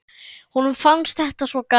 Honum fannst þetta svo gaman.